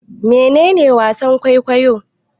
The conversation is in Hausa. Mene ne wasan-kwaikwayo?